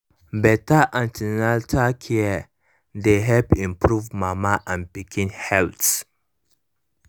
better an ten atal care dey help improve mama and pikin health